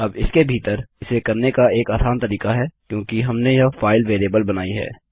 अब इसके भीतर इसे करने का एक आसान तरीका है क्योंकि हमने यह फाइल वेरिएबल बनाई है